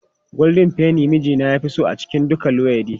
Goldin feni ne mijina ya fi so a cikin duka luwaiɗi.